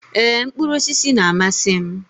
Ee, mkpụrụ osisi na-amasị m.